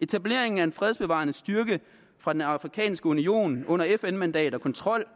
etableringen af en fredsbevarende styrke fra den afrikanske union under fn mandat og kontrol